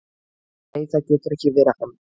"""Nei, það getur ekki verið hann."""